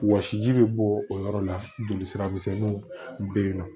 Wɔsi ji bɛ bɔ o yɔrɔ la jolisira misɛnninw bɛ yen nɔ